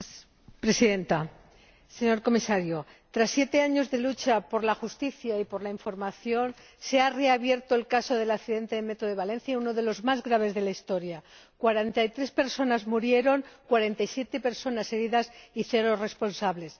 Señora Presidenta, señor Comisario, tras siete años de lucha por la justicia y por la información, se ha reabierto el caso del accidente del metro de Valencia, uno de los más graves de la Historia cuarenta y tres personas fallecidas, cuarenta y siete personas heridas y cero responsables.